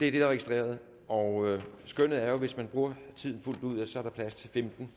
er registreret og vi skønner at hvis man bruger tiden fuldt ud er der plads til femten